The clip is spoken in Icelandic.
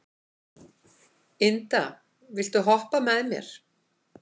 Inda, viltu hoppa með mér?